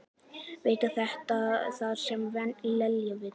Veit að þetta er það sem Lena vill.